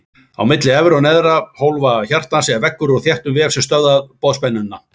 Á milli efri og neðri hólfa hjartans er veggur úr þéttum vef sem stöðva boðspennuna.